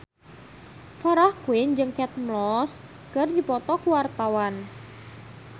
Farah Quinn jeung Kate Moss keur dipoto ku wartawan